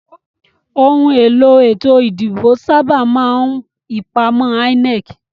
Òhun èlò ètò ìdìbò sábà máa n ipàmò INEC